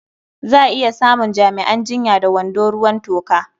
Za a iya samun jami'an jinya da wando ruwan toka.